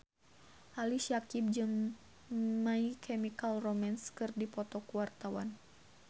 Ali Syakieb jeung My Chemical Romance keur dipoto ku wartawan